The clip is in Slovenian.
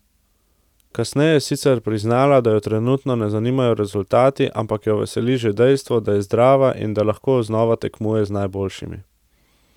Kasneje je sicer priznala, da jo trenutno ne zanimajo rezultati, ampak jo veseli že dejstvo, da je zdrava in da lahko znova tekmuje z najboljšimi.